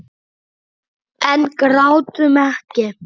En grátum ekki.